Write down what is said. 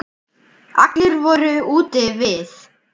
Allir voru úti við.